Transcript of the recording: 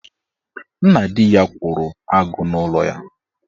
Nna di ya kwụrụ agụụ n'ụlọ ya.